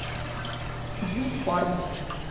димфарм